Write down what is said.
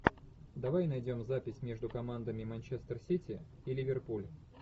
давай найдем запись между командами манчестер сити и ливерпуль